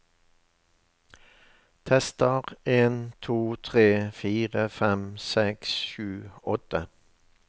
Tester en to tre fire fem seks sju åtte